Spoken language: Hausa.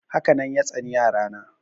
Haka nan ya tsani yara na.